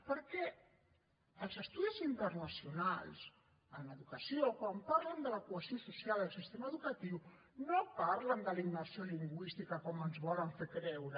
perquè els estudis internacionals en educació quan parlen de la cohesió social i del sistema educatiu no parlen de la immersió lingüística com ens volen fer creure